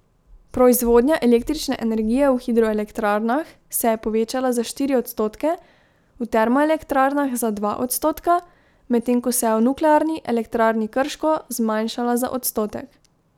Proizvodnja električne energije v hidroelektrarnah se je povečala za štiri odstotke, v termoelektrarnah za dva odstotka, medtem ko se je v Nuklearni elektrarni Krško zmanjšala za odstotek.